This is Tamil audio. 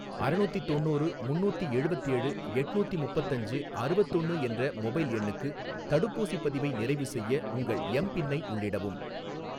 அறநூத்தி தொண்ணூறு முன்னூத்தி எழுவத்தேழு எட்நூத்தி முப்பத்தஞ்சு அறுவத்தொன்னு என்ற மொபைல் எண்ணுக்கு தடுப்பூசிப் பதிவை நிறைவுசெய்ய உங்கள் எம் பின்னை உள்ளிடவும்